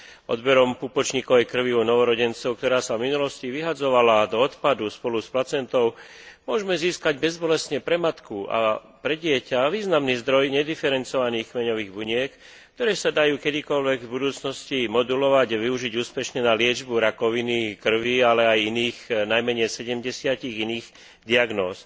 Odberom pupočníkovej krvi u novorodencov, ktorá sa v minulosti vyhadzovala do odpadu spolu s placentou, môžeme získať bezbolestne pre matku a pre dieťa významný zdroj nediferencovaných kmeňových buniek, ktoré sa dajú kedykoľvek v budúcnosti modulovať a využiť úspešne na liečbu rakoviny krvi, ale aj iných najmenej sedemdesiatich iných diagnóz.